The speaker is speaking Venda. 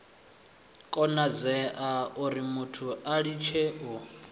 konadzea urimuthu a litshe u